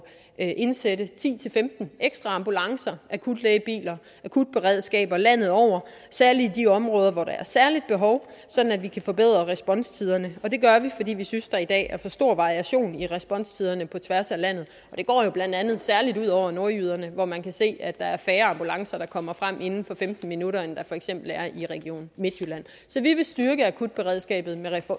at indsætte ti til femten ekstra ambulancer akutlægebiler akutberedskaber landet over særlig i de områder hvor der er et særligt behov sådan at vi kan forbedre responstiderne og det gør vi fordi vi synes der i dag er for stor variation i responstiderne på tværs af landet og det går jo blandt andet særlig ud over nordjyderne hvor man kan se at der er færre ambulancer der kommer frem inden for femten minutter end der for eksempel er i region midtjylland så vi vil styrke akutberedskabet med